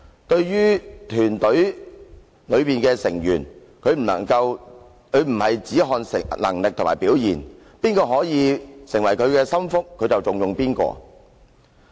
對於團隊裡的成員，他不看能力和表現；誰可以給他收納為心腹，他就重用誰。